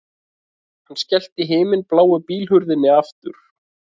Hann skellti himinbláu bílhurðinni aftur